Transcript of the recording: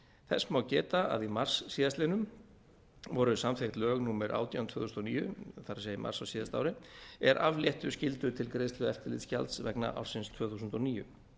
þess má geta að í mars síðastliðnum voru samþykkt lög númer átján tvö þúsund og níu það er í mars á síðasta ári er afléttu skyldu til greiðslu eftirlitsgjalds vegna ársins tvö þúsund og níu